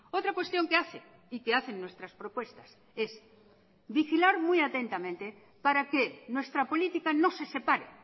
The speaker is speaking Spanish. otra cuestión que hace y que hacen nuestras propuestas es vigilar muy atentamente para que nuestra política no se separe